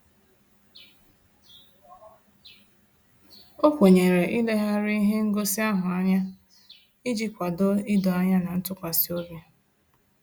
O kwenyere ileghari ihe ngosi ahụ anya, iji kwado ịdọ anya na ntụkwasịobi